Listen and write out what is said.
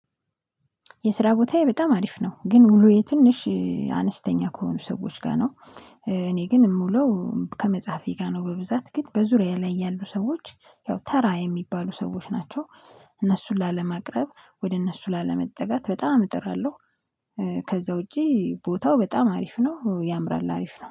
የስራ ቦታዬ በጣም አሪፍ ነው ግን ውሎዬ ትንሽ አነስተኛ ከሆኑ ሰዎች ጋር ነው። እኔ ግን የምውለው ከመጽሐፌ ጋር ነው። በብዛት ግን በዙሪያ ላይ ያሉ ሰዎች ያው ተራ የሚባሉ ሰዎች ናቸው። እነሱን ላለማቅረብ ወደ እነሱ ላለመጠጋት በጣም እጥራለሁ። ከዛ ውጪ ቦታው በጣም አሪፍ ነው ያምራል አሪፍ ነው